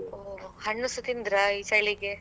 ಹೊ ಹಣ್ಣುಸ ತಿಂದ್ರ ಈ ಚಳಿಗೆ.